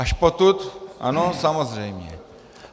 Až potud, ano samozřejmě.